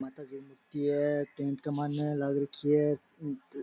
माताजी की मुर्ति है टैंट में माइन लाग रखी है।